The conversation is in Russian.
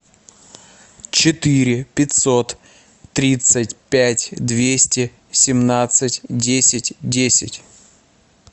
четыре пятьсот тридцать пять двести семнадцать десять десять